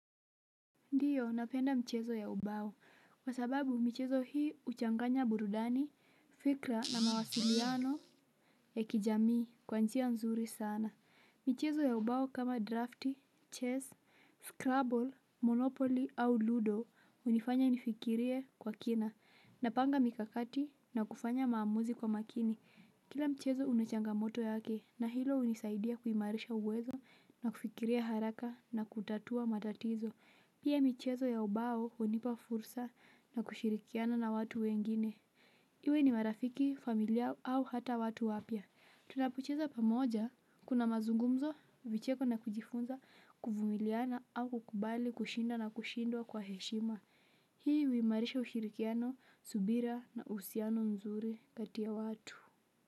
Ndio, napenda mchezo ya ubao, kwa sababu michezo hii huchanganya burudani, fikra na mawasiliano ya kijamii kwa njia nzuri sana. Michezo ya ubao kama drafti, chess, scrabble, monopoly au ludo hunifanya nifikirie kwa kina. Napanga mikakati na kufanya maamuzi kwa makini. Kila mchezo una changamoto yake na hilo hunisaidia kuimarisha uwezo na kufikiria haraka na kutatua matatizo. Pia michezo ya ubao hunipa fursa ya kushirikiana na watu wengine. Iwe ni marafiki, familia au hata watu wapya. Tunapocheza pamoja, kuna mazungumzo, vicheko na kujifunza, kuvumiliana au kukubali kushinda na kushindwa kwa heshima. Hii huimarisha ushirikiano, subira na uhusiano nzuri kati ya watu.